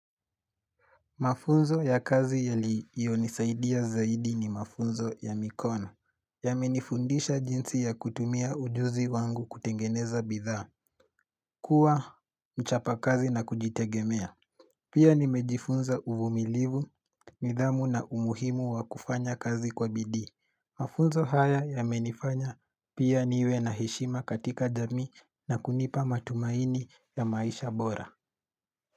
Mafunzo ya kazi yaliyonisaidia zaidi ni mafunzo ya mikono. Yamenifundisha jinsi ya kutumia ujuzi wangu kutengeneza bidhaa kuwa mchapa kazi na kujitegemea. Pia nimejifunza uvumilivu, midhamu na umuhimu wa kufanya kazi kwa bidhii. Mafunzo haya yamenifanya pia niwe na hishima katika jamii na kunipa matumaini ya maisha bora.